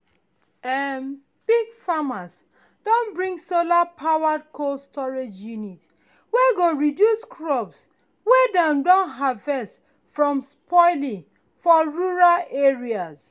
um big farmers don bring solar-powered cold storage unit wey go reduce crops wey dem don harvest from spoiling for rural area